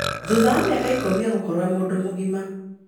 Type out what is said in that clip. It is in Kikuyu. Thutha wa mĩaka ikũmi egũkorwo e mũndũ mũgima